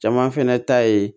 Caman fɛnɛ ta ye